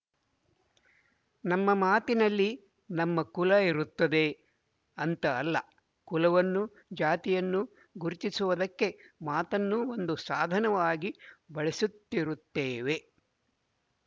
ನಮ್ಮ ಮಾತಿನಲ್ಲಿ ನಮ್ಮ ಕುಲ ಇರುತ್ತದೆ ಅಂತ ಅಲ್ಲ ಕುಲವನ್ನು ಜಾತಿಯನ್ನು ಗುರುತಿಸುವುದಕ್ಕೆ ಮಾತನ್ನು ಒಂದು ಸಾಧನವಾಗಿ ಬಳಸುತ್ತಿರುತ್ತೇವೆ